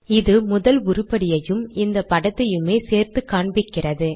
இது முதல் உருப்படியையும் இந்த படத்தையுமே சேர்த்து காண்பிக்கிறது